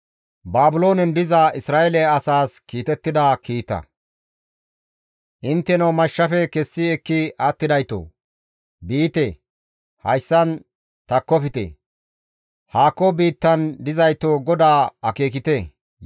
Intteno mashshafe kessi ekki attidaytoo! Biite; hayssan takkofte; haako biittan dizaytoo GODAA akeekite; Yerusalaamekka qopite.